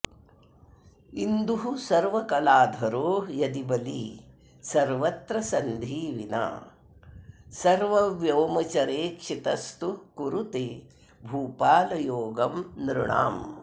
इन्दुः सर्वकलाधरो यदि बली सर्वत्र सन्धि विना सर्वव्योमचरेक्षितस्तु कुरुते भूपालयोगं नृणाम्